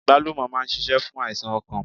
Àgbálùmọ̀ máa n sisé fún àìsàn okàn